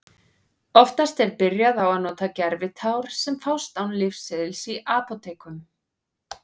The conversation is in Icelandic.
Oftast er byrjað á að nota gervitár sem fást án lyfseðils í apótekum.